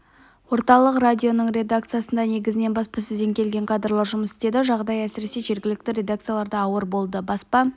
орталық радионың редакциясында негізінен баспасөзден келген кадрлар жұмыс істеді жағдай әсіресе жергілікті редакцияларда ауыр болды баспа